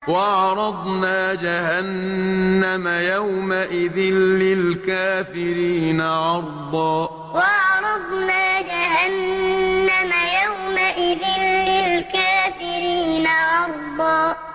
وَعَرَضْنَا جَهَنَّمَ يَوْمَئِذٍ لِّلْكَافِرِينَ عَرْضًا وَعَرَضْنَا جَهَنَّمَ يَوْمَئِذٍ لِّلْكَافِرِينَ عَرْضًا